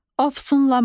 Ofsunlamaq.